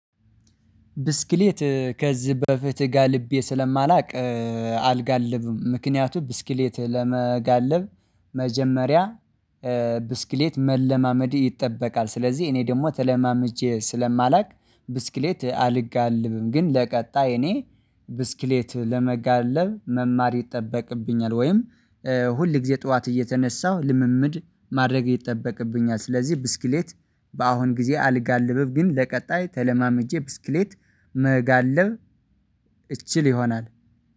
ብስክሌት ከዚህ በፍትህ ጋልቤ ስለማላውቅ አልጋልብም። ምክንያቱም ብስክሌት ለመጋለብ መጀመሪያ ብስክሌት መለማመድ ይጠበቃል። ስለዚህ እኔ ደግሞ ተለማምጄ ስለማላውቅ ብስክሌት አልጋልብም። ግን ለቀጣይ እኔ ብስክሌት ለመጋለብ መማር ይጠበቅብኛል። ወይም ሁል ጊዜ ጠዋት እየተነሳሁ ልምምድ ማድረግ ይጠበቅብኛል። ስለዚህ ብስክሌት በአሁን ጊዜ አልጋልብም። ግን ለቀጣይ ተለማምጄ ብስክሌት መጋለብ እችል ይሆናል።